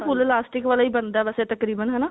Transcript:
ਉਹ ਤਾਂ full elastic ਵਾਲਾ ਬਣਦਾ ਵੈਸੇ ਤਕਰੀਬਨ